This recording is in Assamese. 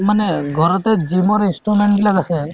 মানে ঘৰতে gym ৰ instrument বিলাক ৰাখে